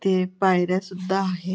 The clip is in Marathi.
ते पायऱ्या सुद्धा आहे.